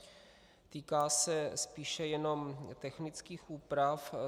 Týká se spíše jenom technických úprav.